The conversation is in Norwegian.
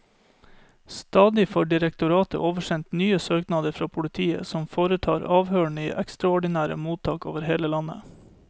Stadig får direktoratet oversendt nye søknader fra politiet, som foretar avhørene i ekstraordinære mottak over hele landet.